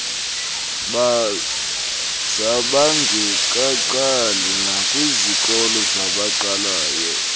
zabangekaqali nakwiizikolo zabaqalayo